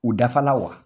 U dafa la wa